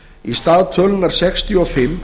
í stað tölunnar sextíu og fimm